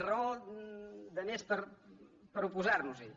raó de més per oposar·nos·hi